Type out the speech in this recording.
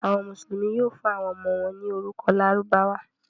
Àwọn Mùsùlùmí yóò fún àwọn ọmọ wọn ní orúkọ Lárúbáwá.